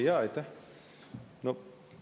Aitäh!